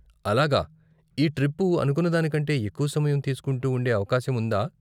అలాగా, ఈ ట్రిప్పు అనుకున్నదానికంటే ఎక్కువ సమయం తీసుకుంటూ ఉండే అవకాశం ఉందా ?